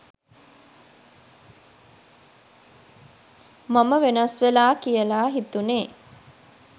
මම වෙනස් වෙලා කියලා හිතුනේ